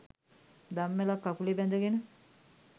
දම්වැලක්‌ කකුලේ බැඳගෙන